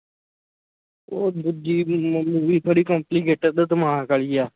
ਉਹ ਦੂਜੀ movie ਬੜੀ ਤੇ ਦਿਮਾਗ ਵਾਲੀ ਹੈ